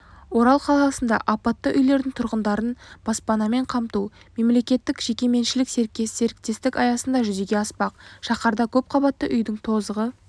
орал қаласында апатты үйлердің тұрғындарын баспанамен қамту мемлекеттік-жекеменшік серіктестік аясында жүзеге аспақ шаһарда көпқабатты үйдің тозығы